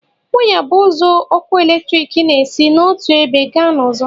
Waya bụ ụzọ ọkụ eletrik n'esi n'otu ebe gaa n'ọzọ